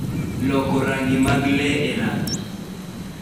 loko rangi mag le e rang'i